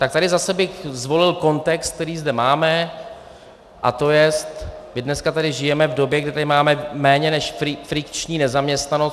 Tak tady bych zase zvolil kontext, který zde máme, a to jest, my dneska tady žijeme v době, kdy tady máme méně než frikční nezaměstnanost.